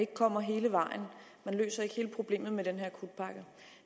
ikke kommer hele vejen man løser ikke hele problemet med den her akutpakke